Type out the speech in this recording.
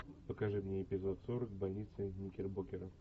покажи мне эпизод сорок больница никербокер